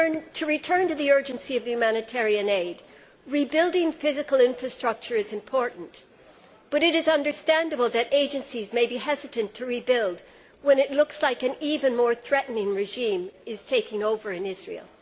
To return to the urgency of the humanitarian aid rebuilding physical infrastructure is important, but it is understandable that agencies may be hesitant to rebuild when it looks as though an even more threatening regime is taking over in Israel.